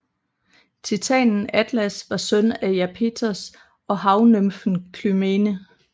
Titanen Atlas var søn af Iapetos og havnymfen Klymene